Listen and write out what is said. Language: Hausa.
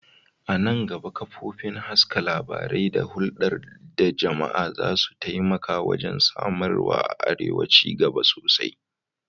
A nan gaba, kafofin haska labarai da hulɗa da jama'a za su taimaka wajen samar wa arewa ci gaba sosai.